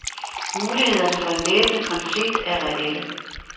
Mulighederne for en væbnet konflikt er reelle.